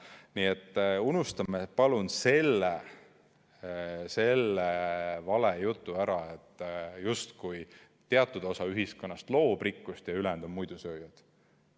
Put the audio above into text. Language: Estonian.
Nii et unustame, palun, selle valejutu ära, justkui teatud osa ühiskonnast loob rikkust ja ülejäänud on muidusööjad.